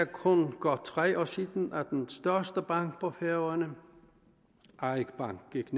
kun er godt tre år siden at den største bank på færøerne eik bank gik